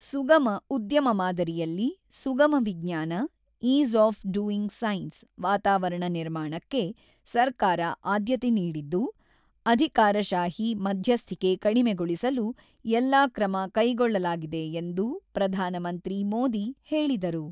ಸುಗಮ ಉದ್ಯಮ ಮಾದರಿಯಲ್ಲಿ, ಸುಗಮ ವಿಜ್ಞಾನ, ಈಸ್ ಆಫ್ ಡುಯಿಂಗ್ ಸೈನ್ಸ್ ವಾತಾವರಣ ನಿರ್ಮಾಣಕ್ಕೆ ಸರ್ಕಾರ ಆದ್ಯತೆ ನೀಡಿದ್ದು, ಅಧಿಕಾರಶಾಹಿ ಮಧ್ಯಸ್ಥಿಕೆ ಕಡಿಮೆಗೊಳಿಸಲು ಎಲ್ಲಾ ಕ್ರಮ ಕೈಗೊಳ್ಳಲಾಗಿದೆ ಎಂದು ಪ್ರಧಾನಮಂತ್ರಿ ಮೋದಿ ಹೇಳಿದರು.